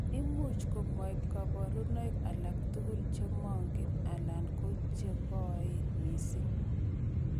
Imuch komoib koborunoik alak tukul, chemong'oen alan ko cheng'oen missing .